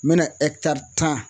Mɛna tan